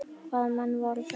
Hvaða menn voru það?